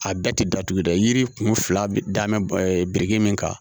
A da ti datugu dɛ yiri kun fila bɛɛ da biriki min kan